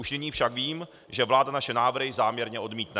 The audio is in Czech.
Už nyní však vím, že vláda naše návrhy záměrně odmítne.